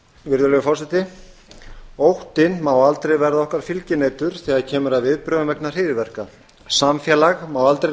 virðulegi forseti óttinn má aldrei verða okkar fylginautur þegar kemur að viðbrögðum vegna hryðjuverka samfélag má aldrei